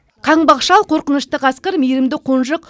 қаңбақ шал қорқынышты қасқыр мейірімді қонжық